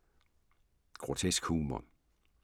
Grotesk humor